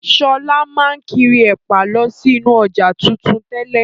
Sọlá máa n kiri ẹ̀pà lọ sí inú ọjà tuntun tẹ́lẹ̀.